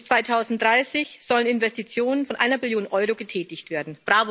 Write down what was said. Bis 2030 sollen Investitionen von einer Billion Euro getätigt werden.